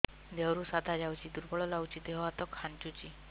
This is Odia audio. ଦେହରୁ ସାଧା ଯାଉଚି ଦୁର୍ବଳ ଲାଗୁଚି ଦେହ ହାତ ଖାନ୍ଚୁଚି